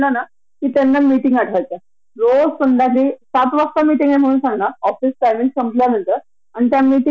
Office च्या व्यतिरिक्त किती एक्स्ट्रा टाइम की ओवरटाइम व्हावा याची काही राइट आहे की नाही अॅज अ एम्प्लॉयी म्हणून.